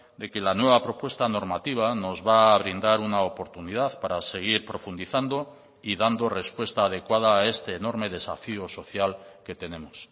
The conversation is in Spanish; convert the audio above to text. de que la nueva propuesta normativa nos va a brindar una oportunidad para seguir profundizando y dando respuesta adecuada a este enorme desafío social que tenemos